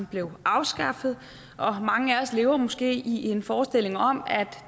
blev afskaffet og mange af os lever måske i en forestilling om at